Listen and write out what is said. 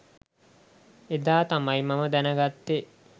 එදා තමයි මම දැනගත්තේ